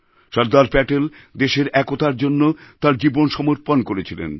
সরদার প্যাটেল দেশের একতার জন্য তাঁর জীবন সমর্পণ করেছিলেন